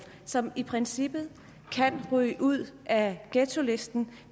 som i princippet kan ryge ud af ghettolisten